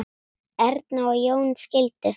Erna og Jón skildu.